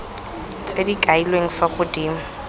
tse di kailweng fa godimo